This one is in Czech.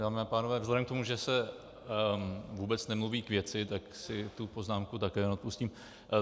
Dámy a pánové, vzhledem k tomu, že se vůbec nemluví k věci, tak si tu poznámku také neodpustím.